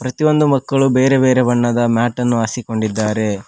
ಪ್ರತಿಯೊಂದು ಮಕ್ಕಳು ಬೇರೆ ಬೇರೆ ಬಣ್ಣದ ಮ್ಯಾಟನ್ನು ಹಾಸಿಕೊಂಡಿದ್ದಾರೆ.